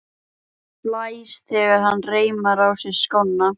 Blæs þegar hann reimar á sig skóna.